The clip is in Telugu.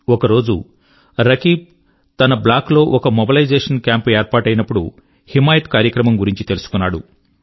ఒకరోజు రకీబ్ తన బ్లాక్ లో ఒక మొబలైజేషన్ క్యాంప్ ఏర్పాటయినపుడు హిమాయత్ కార్యక్రమం గురించి తెలుసుకున్నాడు